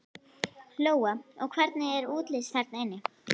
Lóa: Og hvernig er útlits þarna inni?